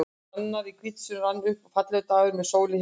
Annar í hvítasunnu rann upp, fallegur dagur með sól í heiði.